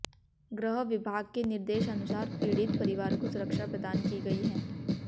गृह विभाग के निर्देश अनुसार पीड़ित परिवार को सुरक्षा प्रदान की गई है